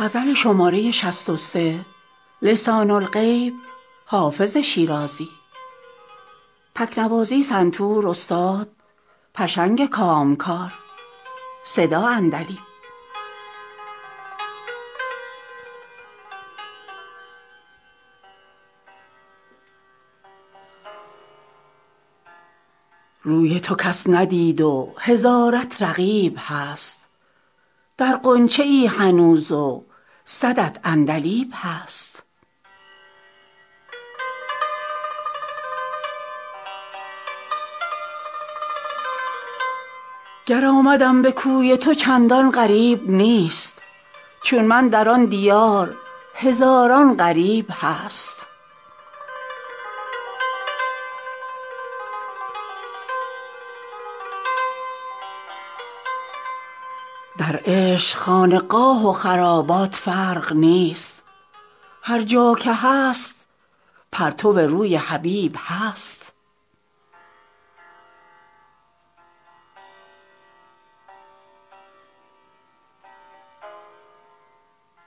روی تو کس ندید و هزارت رقیب هست در غنچه ای هنوز و صدت عندلیب هست گر آمدم به کوی تو چندان غریب نیست چون من در آن دیار هزاران غریب هست در عشق خانقاه و خرابات فرق نیست هر جا که هست پرتو روی حبیب هست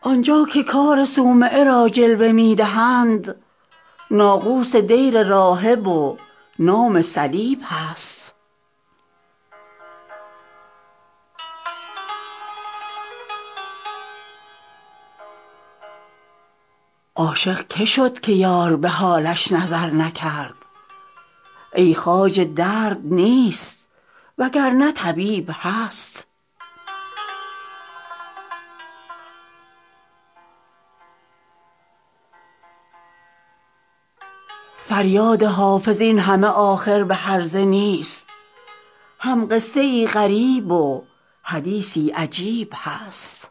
آن جا که کار صومعه را جلوه می دهند ناقوس دیر راهب و نام صلیب هست عاشق که شد که یار به حالش نظر نکرد ای خواجه درد نیست وگرنه طبیب هست فریاد حافظ این همه آخر به هرزه نیست هم قصه ای غریب و حدیثی عجیب هست